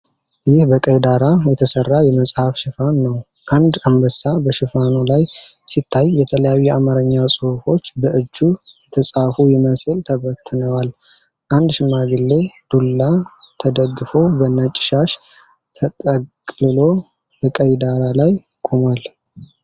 ይህ በቀይ ዳራ የተሰራ የመጽሐፍ ሽፋን ነው። አንድ አንበሳ በሽፋኑ ላይ ሲታይ፣ የተለያዩ የአማርኛ ጽሑፎች በእጁ የተጻፉ ይመስል ተበትነዋል። አንድ ሽማግሌ ዱላ ተደግፎ በነጭ ሻሽ ተጠቅልሎ በቀይ ዳራ ላይ ቆሟል።